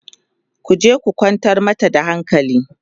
ku je ku kwantar mata da hankali!